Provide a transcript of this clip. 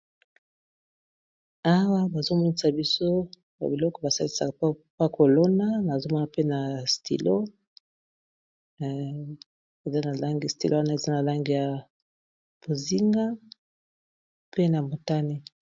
awa bazomonisa biso ba biloko basalisaka pa kolona nampea langi stilo wana eza na langi ya bozinga pe na motani